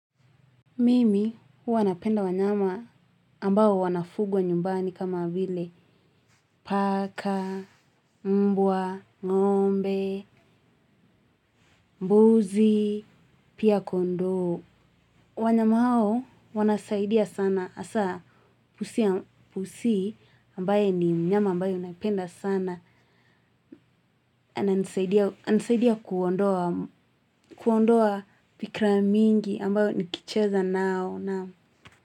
Mimi huwa napenda wanyama ambao wanafugwa nyumbani kama vile. Paka, mbwa, ng'ombe, mbuzi, pia kondoo. Wanyama hao wanasaidia sana. Hasa pusi ambaye ni mnyama ambayo naipenda sana. Anasaidia kuondoa fikra mingi ambayo nikicheza nao.